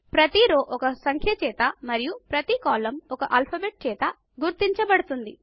ప్రతి రో ఒక సంఖ్య చేత మరియు ఒక ప్రతి కాలమ్ ఒక ఆల్ఫాబెట్ చేత గుర్తించబడుతుంది